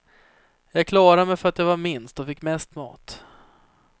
Jag klarade mig för att jag var minst och fick mest mat.